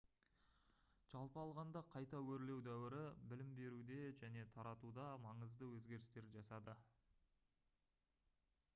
жалпы алғанда қайта өрлеу дәуірі білім беруде және таратуда маңызды өзгерістер жасады